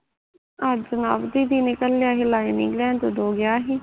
ਅੱਜ ਨਵ ਦੀਦੀ ਨੇ ਘਲਿਆ ਸੀ lining ਲੈਣ ਤੇ ਉਦੋਂ ਗਿਆ ਸੀ